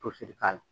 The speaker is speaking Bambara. Tosi k'a la